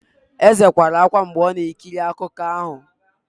Eze kwara ákwá mgbe ọ na-ekiri akụkọ ahụ.